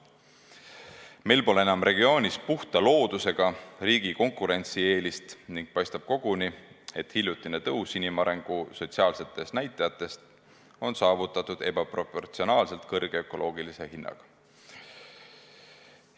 Meil pole enam regioonis puhta loodusega riigi konkurentsieelist ning paistab koguni, et hiljutine tõus inimarengu sotsiaalsetes näitajates on saavutatud ebaproportsionaalselt kõrge ökoloogilise hinnaga.